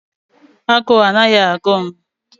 A guu anaghị agụ m